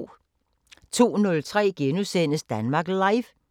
02:03: Danmark Live *